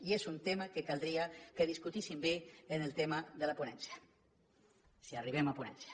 i és un tema que caldria que discutíssim bé en el tema de la ponència si arribem a ponència